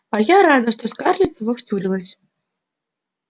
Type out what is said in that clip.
а я рада что скарлетт в него втюрилась